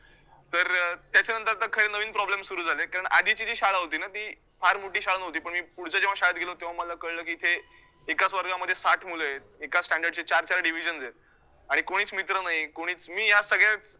त्याच्यानंतर आता खैर नवीन problems सुरू झाले, कारण आधीची जी शाळा होती ना ती फार मोठी शाळा नव्हती, पण मी पुढच्या जेव्हा शाळेत गेलो तेव्हा मला कळलं की, इथे एकाच वर्गामध्ये साठ मुलं आहेत, एकाच standard चे चार चार divisions आहेत आणि कोणीच मित्र नाही कोणीच मी या सगळ्या